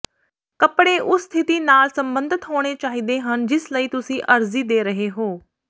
ਕੱਪੜੇ ਉਸ ਸਥਿਤੀ ਨਾਲ ਸੰਬੰਧਿਤ ਹੋਣੇ ਚਾਹੀਦੇ ਹਨ ਜਿਸ ਲਈ ਤੁਸੀਂ ਅਰਜ਼ੀ ਦੇ ਰਹੇ ਹੋ